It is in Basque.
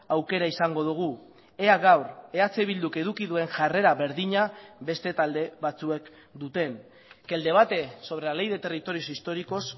aukera izango dugu ea gaur eh bilduk eduki duen jarrera berdina beste talde batzuek duten que el debate sobre la ley de territorios históricos